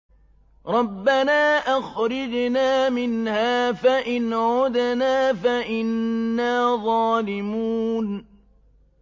رَبَّنَا أَخْرِجْنَا مِنْهَا فَإِنْ عُدْنَا فَإِنَّا ظَالِمُونَ